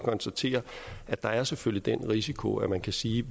konstatere at der selvfølgelig er den risiko at man kan sige